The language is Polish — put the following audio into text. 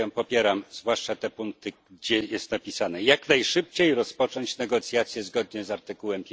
Ja ją popieram, zwłaszcza te punkty, gdzie jest napisane jak najszybciej rozpocząć negocjacje zgodnie z artykułem